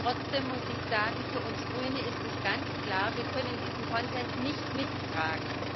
Trotzdem muss ich sagen, für uns Grüne ist es ganz klar Wir können diesen Konsens nicht mittragen.